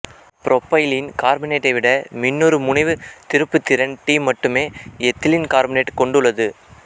propylene கார்பனேட்டை விட மின்னிருமுனைவுத் திருப்புத்திறன் டி மட்டுமே எத்திலீன் கார்பனேட்டு கொண்டுள்ளது